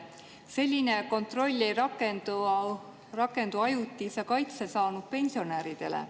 Selline kontroll ei rakendu ajutise kaitse saanud pensionäride suhtes.